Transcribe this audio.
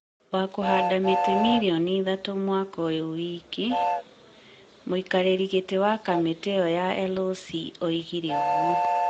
wa kũhanda mĩtĩ mirioni ithatũ mwaka ũyũ wiki. mũikarĩri gĩtĩ wa kamĩtĩ ĩyo ya LOC oigire ũguo.